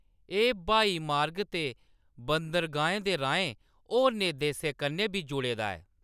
एह्‌‌ ब्हाई मार्ग ते बंदरगाहें दे राहें होरनें देशें कन्नै बी जुड़े दा ऐ।